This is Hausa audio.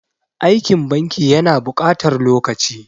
Aikin banki ya na buƙatar lokaci.